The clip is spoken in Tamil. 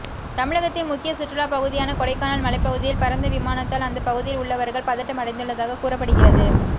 தமிழகத்தின் முக்கிய சுற்றுலா பகுதியான கொடைக்கானல் மலைப்பகுதியில் பறந்த விமானத்தால் அந்த பகுதியில் உள்ளவர்கள் பதட்டம் அடைந்துள்ளதாக கூறப்படுகிறது